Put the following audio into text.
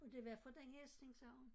Og det var fra den hest ik sagde hun